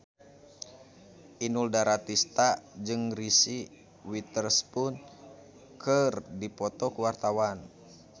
Inul Daratista jeung Reese Witherspoon keur dipoto ku wartawan